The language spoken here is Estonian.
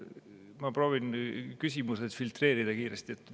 Ma proovin küsimused kiiresti filtreerida.